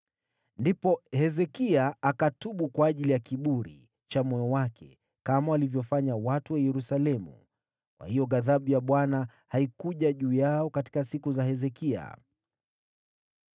Ndipo Hezekia akatubu kwa ajili ya kiburi cha moyo wake, kama walivyofanya watu wa Yerusalemu, kwa hiyo ghadhabu ya Bwana haikuja juu yao katika siku za Hezekia.